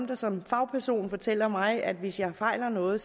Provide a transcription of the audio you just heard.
der som fagperson fortæller mig at hvis jeg fejler noget